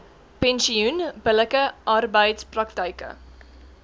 pensioen billike arbeidspraktyke